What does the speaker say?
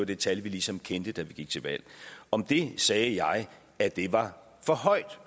det tal vi ligesom kendte da vi gik til valg om det sagde jeg at det var for højt